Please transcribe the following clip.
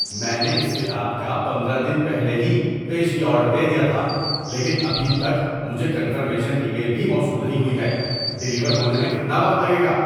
میں نے اس کتاب کا پندرہ دن پہلے ہی پیشگی آرڈر دے دیا تھا لیکن ابھی تک مجھے کنفرمیشن ای میل بھی موصول نہیں ہوئی ہے۔ ڈیلیور ہونے میں کتنا وقت لگے گا؟